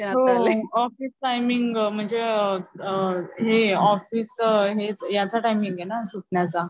हो office timing म्हणजे त अ त ऑफिस हे याचा टाईमिंगें ना सुटण्याचा